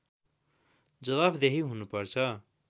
जवाफदेही हुनुपर्छ